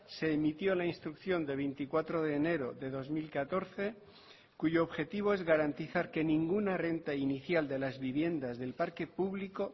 se emitió la instrucción de veinticuatro de enero de dos mil catorce cuyo objetivo es garantizar que ninguna renta inicial de las viviendas del parque público